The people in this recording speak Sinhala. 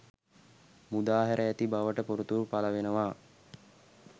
මුදා හැර ඇති බවට තොරතුරු පලවෙනවා.